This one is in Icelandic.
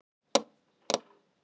Það séu mikil tímamót.